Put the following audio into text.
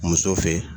Muso fɛ